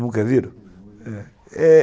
Nunca viram?